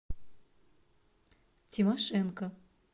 тимошенко